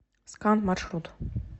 скан маршрут